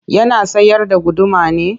Yana sayar da guduma ne?